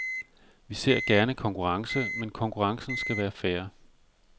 Vi ser gerne konkurrence, men konkurrencen skal være fair.